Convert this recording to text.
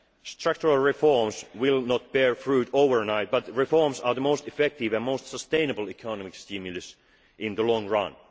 nationally. Structural reforms will not bear fruit overnight, but reforms are the most effective and most sustainable economic stimulus in